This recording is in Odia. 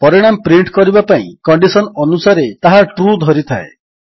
ପରିଣାମ ପ୍ରିଣ୍ଟ କରିବା ପାଇଁ କଣ୍ଡିଶନ୍ ଅନୁସାରେ ତାହା ଟ୍ରୁ ଧରିଥାଏ